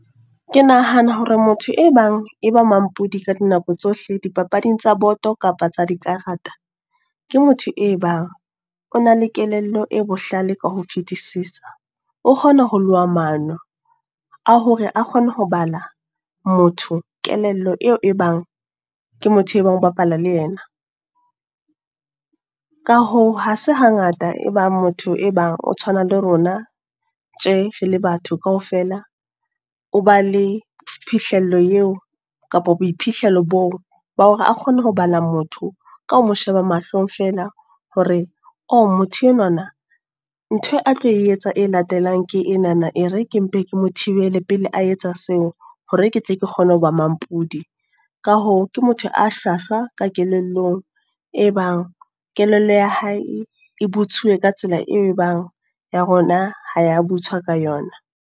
Ke nahana hore motho e bang, e ba mampodi ka dinako tsohle di papading tsa boto kapa tsa dikarata. Ke motho e bang, o na le kelello e bohlale ka ho fetisisa. O kgona ho loha mano, a hore a kgone ho bala, motho kelello eo e bang ke motho e bang o bapala le yena. Ka hoo, ha se hangata e bang motho e bang o tshwana le rona, tje re le batho kaofela. O ba le phihlello eo kapa boiphihlelo boo. Ba hore a kgone ho bala motho ka ho mo sheba mahlong feela, hore o motho enwana nthwe a tlo etsa e latelang ke enana. E re ke mpe ke mothibele pele a etsa seo, hore ke tle ke kgone hoba mampudi. Ka hoo, ke motho a hlwahlwa ka kelellong. E bang kelello ya hae e butsuwe ka tsela, e bang ya rona ha ya butswa ka yona.